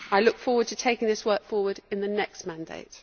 I look forward to taking this work forward in the next mandate.